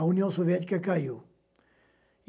a União Soviética caiu.